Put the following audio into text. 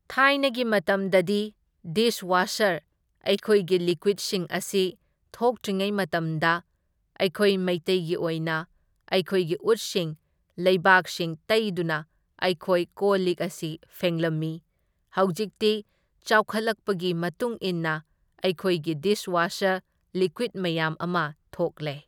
ꯊꯥꯏꯅꯒꯤ ꯃꯇꯝꯗꯗꯤ dishwasher ꯑꯩꯈꯣꯏꯒꯤ ꯂꯤꯀ꯭ꯋꯤꯠꯁꯤꯡ ꯑꯁꯤ ꯊꯣꯛꯇ꯭ꯔꯤꯉꯩ ꯃꯇꯝꯗ ꯑꯩꯈꯣꯏ ꯃꯩꯇꯩꯒꯤ ꯑꯣꯏꯅ ꯑꯩꯈꯣꯏꯒꯤ ꯎꯠꯁꯤꯡ ꯂꯩꯕꯥꯛꯁꯤꯡ ꯇꯩꯗꯨꯅ ꯑꯩꯈꯣꯏ ꯀꯣꯜ ꯂꯤꯛ ꯑꯁꯤ ꯐꯦꯡꯂꯝꯃꯤ, ꯍꯧꯖꯤꯛꯇꯤ ꯆꯥꯎꯈꯠꯂꯛꯄꯒꯤ ꯃꯇꯨꯡ ꯏꯟꯅ ꯑꯩꯈꯣꯏꯒꯤ ꯗꯤꯁ ꯋꯥꯁꯔ ꯂꯤꯀ꯭ꯋꯤꯠ ꯃꯌꯥꯝ ꯑꯃ ꯊꯣꯛꯂꯦ꯫